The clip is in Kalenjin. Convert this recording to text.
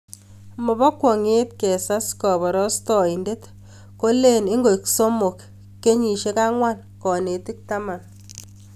Mobo kwonget kesat koborostoindet kolen ingoik somok, kenyisiek angwan, konetik taman